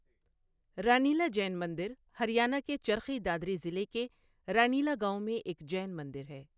رانیلا جین مندر ہریانہ کے چرخی دادری ضلع کے رانیلا گاؤں میں ایک جین مندر ہے۔